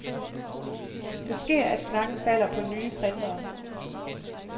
Det sker, at snakken falder på nye printere.